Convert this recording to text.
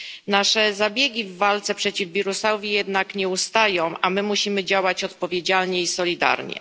Nasze zabiegi w walce przeciw wirusowi jednak nie ustają, a my musimy działać odpowiedzialnie i solidarnie.